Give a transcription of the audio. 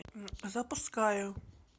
запускаю